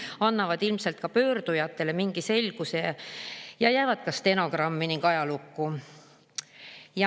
Need annavad ilmselt pöördujatele mingi selguse ning jäävad ka stenogrammi ja ajalukku.